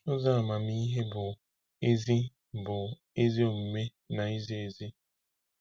Ụzọ amamihe bụ ezi bụ ezi omume na izi ezi.